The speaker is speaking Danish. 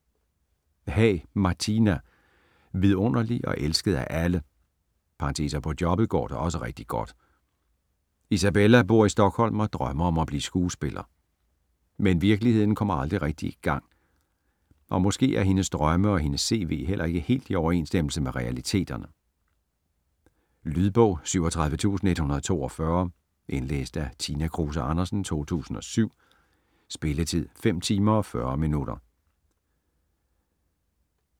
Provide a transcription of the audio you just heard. Haag, Martina: Vidunderlig og elsket af alle: (og på jobbet går det også rigtig godt) Isabella bor i Stockholm og drømmer om at blive skuespiller. Men virkeligheden kommer aldrig rigtig i gang! Og måske er hendes drømme og hendes cv heller ikke helt i overensstemmelse med realiteterne? Lydbog 37142 Indlæst af Tina Kruse Andersen, 2007. Spilletid: 5 timer, 40 minutter.